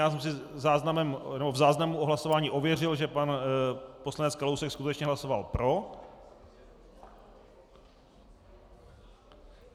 Já jsem si v záznamu o hlasování ověřil, že pan poslanec Kalousek skutečně hlasoval pro.